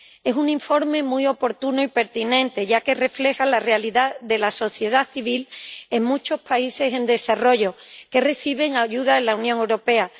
Es un informe muy oportuno y pertinente, ya que refleja la realidad de la sociedad civil en muchos países en desarrollo que reciben ayuda de la Unión Europea.